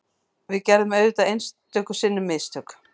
Við gerum auðvitað einstöku sinnum mistök